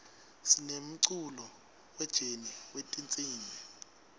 sinemculo we jeni wetinsimb